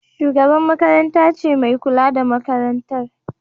Shugabar makarantar ce mai kula da makarantar.